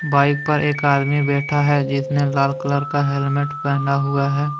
Bike पर एक आदमी बैठा है जिसने लाल कलर का हेलमेट पहना हुआ है।